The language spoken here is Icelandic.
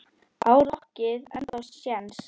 Á rokkið ennþá séns?